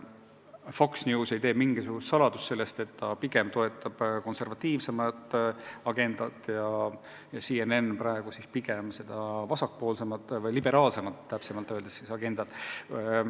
Fox News ei tee mingisugust saladust, et ta pigem toetab konservatiivsemat agendat, CNN aga praegu pigem vasakpoolsemat või õigemini liberaalsemat agendat.